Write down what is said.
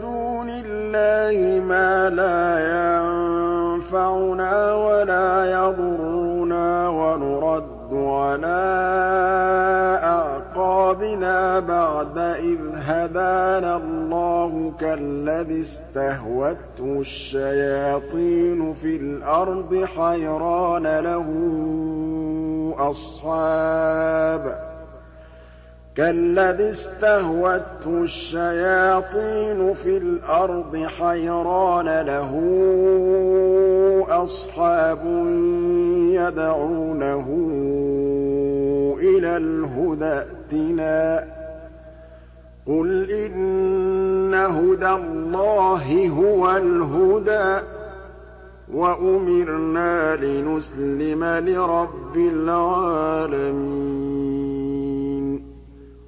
دُونِ اللَّهِ مَا لَا يَنفَعُنَا وَلَا يَضُرُّنَا وَنُرَدُّ عَلَىٰ أَعْقَابِنَا بَعْدَ إِذْ هَدَانَا اللَّهُ كَالَّذِي اسْتَهْوَتْهُ الشَّيَاطِينُ فِي الْأَرْضِ حَيْرَانَ لَهُ أَصْحَابٌ يَدْعُونَهُ إِلَى الْهُدَى ائْتِنَا ۗ قُلْ إِنَّ هُدَى اللَّهِ هُوَ الْهُدَىٰ ۖ وَأُمِرْنَا لِنُسْلِمَ لِرَبِّ الْعَالَمِينَ